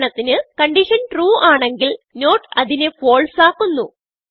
ഉദാഹരണത്തിന് കൺഡിഷൻ trueആണെങ്കിൽ നോട്ട് അതിനെ falseആക്കുന്നു